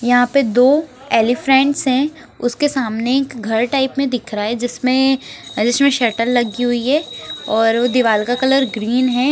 यहाँ पर दो एलीफैंट्स हैं उसके सामने एक घर टाइप में दिख रहा है जिसमें जिसमें शटर लगी हुई है और वह दीवार का कलर ग्रीन है।